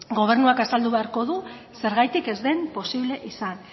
gobernuak azaldu beharko du zergatik ez den posible izan